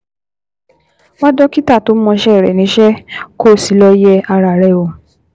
Wá dókítà tó mọṣẹ́ rẹ̀ níṣẹ́, kó o sì lọ yẹ ara rẹ wò